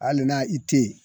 Hali na i te ye